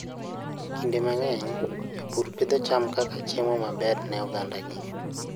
Kinde mang'eny, jopur pidho cham kaka chiemo maber ne ogandagi.